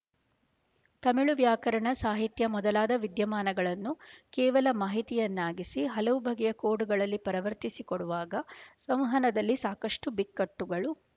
ತಮಿಳು ವ್ಯಾಕರಣ ಸಾಹಿತ್ಯ ಮೊದಲಾದ ವಿದ್ಯಮಾನಗಳನ್ನು ಕೇವಲ ಮಾಹಿತಿಯನ್ನಾಗಿಸಿ ಹಲವು ಬಗೆಯ ಕೋಡ್‍ಗಳಲ್ಲಿ ಪರವರ್ತಿಸಿ ಕೊಡುವಾಗ ಸಂವಹನದಲ್ಲಿ ಸಾಕಷ್ಟು ಬಿಕ್ಕಟ್ಟುಗಳು